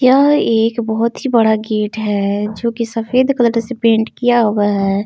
यह एक बहुत ही बड़ा गेट है जो की सफेद कलर से पेंट किया हुआ है।